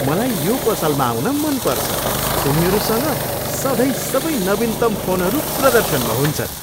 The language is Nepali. मलाई यो पसलमा आउन मन पर्छ। उनीहरूसँग सधैँ सबै नवीनतम फोनहरू प्रदर्शनमा हुन्छन्।